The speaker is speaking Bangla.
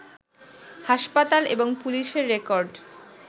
হাসপাতাল, এবং পুলিশের রেকর্ড